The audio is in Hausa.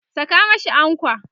Saka mashi ankwa!